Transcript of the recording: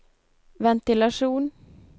ventilasjon